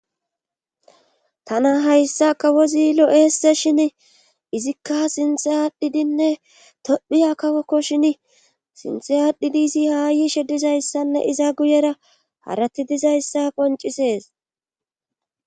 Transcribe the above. tana hayssa kawozi lo'eeseshin izikka sinthe aadhdhidinne tophiya kawokkoshin sinthe aadhdhidi izi haayishe dizayssanne iza guyera harati dizayssa qoncisees